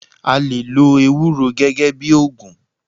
A lè lo ewúro gẹ́gẹ́ bíi ògùn.